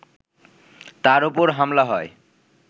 তার ওপর হামলা হয়